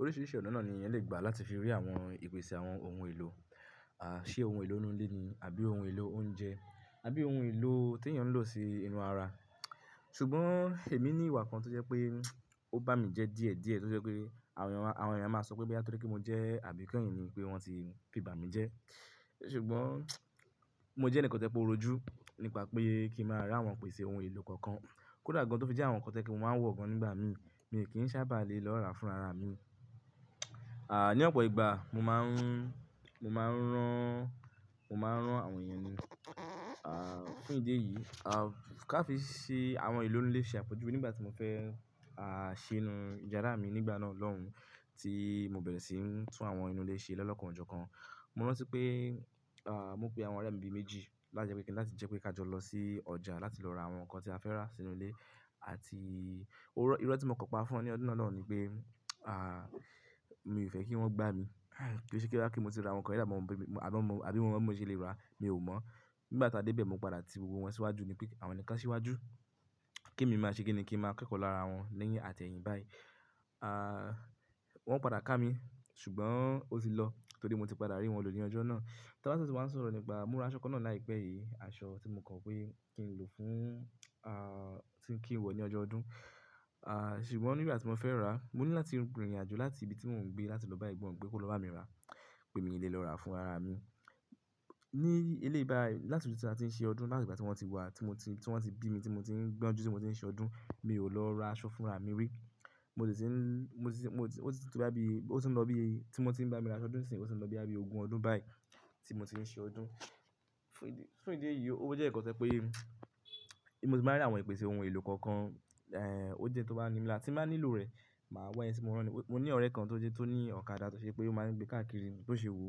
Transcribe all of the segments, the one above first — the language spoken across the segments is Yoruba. Oríṣiríṣi ọ̀nà náà ni èèyàn lè gbà láti fi rí àwọn ìpèsè àwọn ohun èlò, à, ṣe ohun èlò inú ilé ni àbí ohun èlò oúnjẹ àbí ohun èlò tí èèyàn lò sí inú àrà. Ṣùgbọ́n èmi ní ìwà kan tó jẹ́ pé ó bá mi jẹ díẹ̀díẹ̀ tó jẹ́ pé àwọn èèyàn máa sọ pé bí á tó rí kí mo jẹ́ àbíkeyìn ni pé wọ́n tí fi bámi jẹ́. Ṣùgbọ́n, mo jẹ́ ẹnìkan tó jẹ pé o rójú nípa pé kí ń má ra àwọn ìpèsè ohun èlò kankan. Kódà gán tó fi jẹ́ àwọn nǹkan to jẹ pé mo máà n wọ̀ gan nígbà mi, mi kí ń sábà lè lọ rà fún rárá mi. À, ní ọ̀pọ̀ ìgbà mo máa ń, mo máa ń rán, mo máa ń rán àwọn èèyàn ni. À, fún ìdí èyí, à, ká fi sí àwọn ohun èlò inú ìlé ṣe àpejùwe nígbà tí mo fẹ́ à, ṣe inú yàrá mi nígbà náà lọ́hùn, tí mo bẹ̀rẹ̀ sí ń tún àwọn inú ilé ṣe lọ́lokàn ọjọ́ kan, mo rántí pé, à, mo pe àwọn ọ̀rẹ́ mi bi méjì láti jẹ́ pé kíni láti jẹ́ pé ká jọ lọ sí ọjà láti lọ ra àwọn nǹkan tí a fẹ́ rà sínú ilé. Àti, irọ́ tí mo kò pa fún wọn ní ọdún náà lóhùn ni pé, à, mi ò fẹ́ kí wọ́n gbá mi. Ki se bóyá mo tí ra àwọn nǹkan yẹn dá, bí mo mọ̀ bí, àbí mo mọ̀ bó ṣe lè rà, mi ò mọ̀. Nígbà tí a dé bẹ̀, mo padà tí gbogbo wọn síwájú ni pé àwọn ni ká síwájú kí èmi máa ṣe kíni kí ń máa kẹ́kọ̀ọ́ lára wọn lẹ́yìn àtẹ̀yìn báyìí. À, wọ́n padà ká mi ṣùgbọ́n ó ti lọ torí mo ti padà rí wọn lọ ní ọjọ́ náà. Tọ́lá sì máa ń sọ̀rọ̀ nípa, mo ra aṣọ kan náà láìpẹ́ yìí, aṣọ tí mo kọ̀ wí kí n lò fún, à, tí ń kí n wọ̀ ní ọjọ́ ọdún. À, ṣùgbọ́n nígbà tí mo fẹ́ rà á, mo ní láti rìnrìn àjò láti ibi tí mò ń gbé láti lọ báyìí gbọ́ pé kó lọ bá mi rà pé mi lè lọ rà fún ara mi. Ní eléyìí báyìí, láti ọdún tí a ti ń ṣe ọdún, láti ìgbà tí wọ́n ti wá tí mo ti, tí wọ́n ti bí mi tí mo ti ń gbọ́njú tí mo ti ń ṣe ọdún, mi ò lọ ra aṣọ fúnra mi rí. Mo sì ti ń, mo sì ti, ó sì ti wá bí, ó sì ń lọ bí, tí mo ti ń bá mi ra ṣọdún sì ti ń lọ bí ogún ọdún báyìí tí mo ti ń ṣe ọdún. Fún ìdí èyí, fún ìdí èyí ó jẹ́ ǹkan tó se pé èmi máa rí àwọn ìpèsè ohun èlò kankan, èhè, ó jẹ tó bá ní mi láti máa nílò rẹ̀, màá wọ̀ ẹni tí mo rán ni. Mo ní ọ̀rẹ́ kan tó jẹ́ tó ní ọ̀kadà tó ṣe pé ó máa ń gbé káàkiri tó ṣe wò.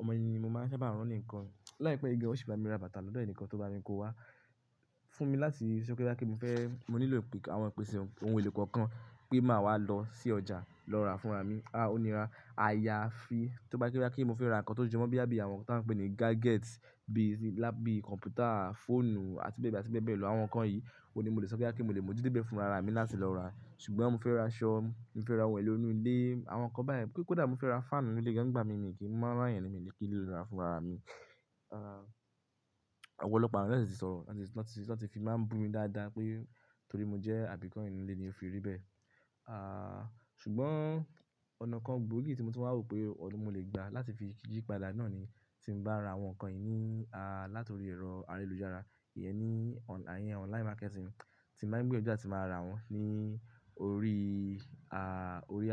Ọmọ yìí ni mo máa ń sábà rán ní ǹkan láìpẹ́ igi ó sì bá mi ra bàtà lọ́dọ̀ ẹni kan tó bá mi kó wá. Fún mi láti ṣe bòyá kí n fẹ́, mo nílò àwọn ìpèsè ohun èlò kọ̀ọ̀kan pé màá wá lọ sí ọjà lọ rà fúnra mi. À, ó níra. Àyàfi tó bá jẹ́ bóyá pé mo fẹ́ ra nǹkan tó jọ mọ́ bíi àbí àwọn nǹkan tí à ń pè ní gadgets bíi lápì, kọ̀m̀pútà, fóònù àti bẹ́ẹ̀ bẹ́ẹ̀ lọ àwọn nǹkan yìí, ò ní mo lè sọ kíá kí mo lè mo jíde bẹ̀ fúnra ara mi láti lọ rà. Ṣùgbọ́n mo fẹ́ ra aṣọ, mo fẹ́ ra ohun èlò inú ilé, àwọn nǹkan báyẹn. Kódà mo fẹ́ ra fáànù inú ilé gan nígbà mí mi kì í máa rán ẹnì kan kí ló lọ rà fúnra mi. À, ọ̀pọ̀lọpọ̀ àwọn ènìyàn ṣì ń sọ̀rọ̀ láti fi máa ń bu mi dáadáa pé torí mo jẹ́ àbíkẹ́yìn inú ilé ni ó fi rí bẹ́ẹ̀. À, ṣùgbọ́n ọ̀nà kan gbòógì tí mo ti máa ń rò pé òun mo lè gbà láti fi jí padà náà ni tí mo bá ra àwọn nǹkan yìí ní, à, látòrí ẹ̀rọ ayélujára, ìyẹn ní àwọn online marketing tí màá gbé ojú láti máa ra wọ́n ní orí, à, orí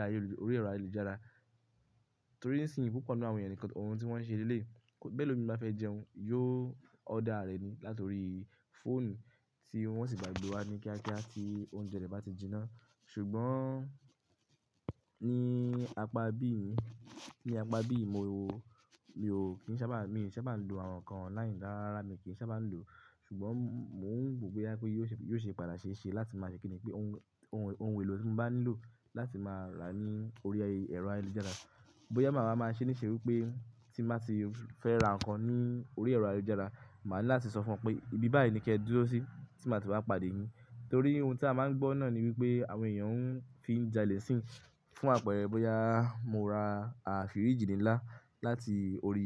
ayélujára. Torí nísìnyí púpọ̀ nínú àwọn ènìyàn nǹkan ohun tí wọ́n ṣe léle, bẹ́lòmíì bá fẹ́ jẹun, yóò order rẹ̀ ni látòrí fóònù tí wọ́n sì gbàgbé wá ní kíákíá tí oúnjẹ rẹ̀ bá ti jiná. Ṣùgbọ́n ní apá bí ì mi, ní apá bí ì mo, mi ò kí ń sábà, mi ò sábà ń lò àwọn nǹkan online dáradára mi ò kí ń sábà ń lò. Ṣùgbọ́n mò ń gbòógì kíá pé yóò ṣe, yóò ṣe padà ṣe é ṣe láti máa ṣe kíni pé ohun, ohun èlò tí mo bá nílò láti máa rà ní orí ẹ̀rọ ayélujára. Bóyá màá máa ṣe níṣe wípé tí n bá ti fẹ́ ra nǹkan ní orí ẹ̀rọ ayélujára, màá ní láti sọ fún wọn pé ibi báyìí ni kí ẹ dúró sí tí màá ti wá pàdé yín. Torí ohun tí a máa ń gbọ́ náà ni wípé àwọn èèyàn ń fi jalè nísin. Fún àpẹẹrẹ bóyá mo ra a firíji nílá láti orí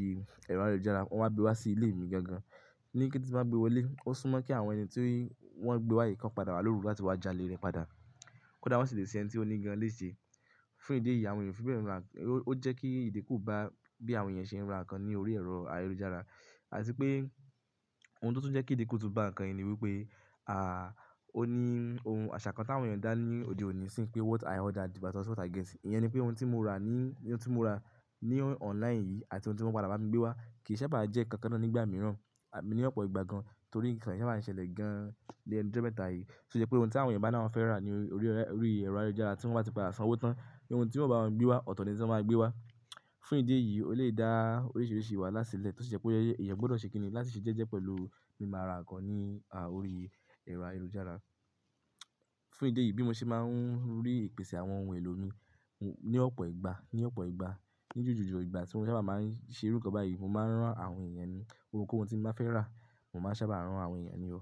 ẹ̀rọ ayélujára, wọ́n máa gbé wá sí ilé mi gangan. Ni kété tí wọ́n bá gbé wọlé, ó súnmọ́ kí àwọn ẹni tí wọ́n gbé wá yìí kí wọ́n padà wá lòru láti wá jalè rẹ̀ padà. Kódà wọ́n sì lè ṣe ẹnì tí oní gan lè ṣe. Fún ìdí èyí àwọn ènìyàn fi bẹ́ẹ̀ rà, ó jẹ́ kí ìdíkù bá bí àwọn èèyàn ṣe ń ra nǹkan ní orí ẹ̀rọ ayélujára. Àti pé ohun tó tún jẹ́ kí ìdíkù tún bá nǹkan yìí ni wípé, à, ó ní ohun àṣà kan tí àwọn èèyàn dá ní òde òní sì í pé what i order is not what i get. Ìyẹn ni pé ohun tí mo ra ní, ohun tí mo ra ní online yìí àti ohun tí wọ́n padà bá mi gbé wá kì í sábà jẹ́ kan kan náà nígbà mìíràn, ní ọ̀pọ̀ ìgbà gan torí ìṣẹ̀lẹ̀ sábà ń ṣẹlẹ̀ gan nilí ẹnu ijọ́ mẹ́ta yìí. Tó ṣe pé ohun tí àwọn èèyàn bá náà fẹ́ rà ní orí ẹ̀rọ ayélujára tí wọ́n bá ti padà san owó tán, ohun tí wọ́n bá wọn gbé wá ọ̀tọ̀ ni tí wọ́n máa gbé wá. Fún ìdí èyí ó lè dá oríṣiríṣi wàhálà sílẹ̀ tó ṣe pé ìyẹn gbọ́dọ̀ ṣe kíni láti ṣe jẹ́jẹ́ pẹ̀lú mí máa ra nǹkan ní, à, orí ẹ̀rọ ayélujára. Fún ìdí èyí bí mo ṣe máa ń rí ìpèsè àwọn ohun èlò mi ní ọ̀pọ̀ ìgbà, ní ọ̀pọ̀ ìgbà, ní jùjù jọ ìgbà tí wọ́n sábà máa ń ṣe irú kan báyìí, mo máa ń rán àwọn èèyàn ní. Ohun tí mo bá fẹ́ rà, mo máa sábà rán àwọn èèyàn ní ó.